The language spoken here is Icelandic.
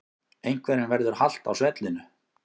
Einhverjum verður halt á svellinu